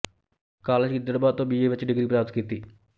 college Gidderbaha ਤੋਂ B A ਵਿੱਚ degree ਪ੍ਰਾਪਤ ਕੀਤੀ